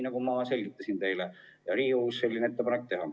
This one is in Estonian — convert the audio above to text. Nagu ma teile selgitasin, võite teha Riigikogus vastava ettepaneku.